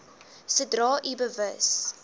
sodra u bewus